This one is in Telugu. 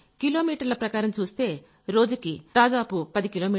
సార్ కిలోమీటర్ల ప్రకారం చూస్తే రోజుకి దాదాపు పది